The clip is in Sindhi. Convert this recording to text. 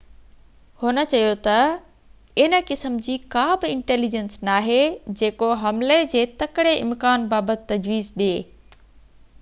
هن چيو تہ ان قسم جي ڪا بہ انٽيليجينس ناهي جيڪو حملي جي تڪڙي امڪان بابت تجويز ڏي